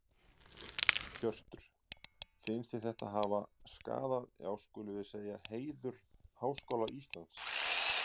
Hjörtur: Finnst þér þetta hafa skaða já skulum við segja heiður Háskóla Íslands?